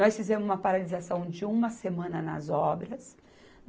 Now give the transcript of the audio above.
Nós fizemos uma paralisação de uma semana nas obras.